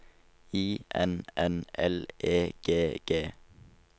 I N N L E G G